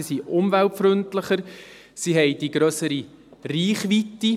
Sie sind umweltfreundlicher, sie haben die grössere Reichweite.